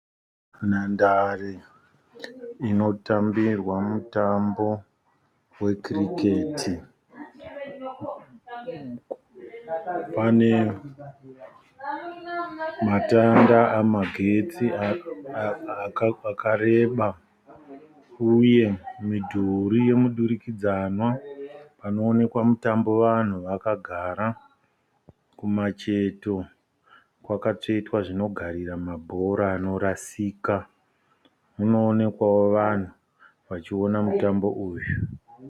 Nhandare inotambirwa mutambo wekiriketi. Pane matanda amagetsi akareba uye midhuri yomudurikidzwana panoonekwa mutambo vanhu vakagara. Kumacheto kwakatsvetwa zvinogarira mabhora anorasika. Munoonekwawo vanhu vachiona mutambo uyu.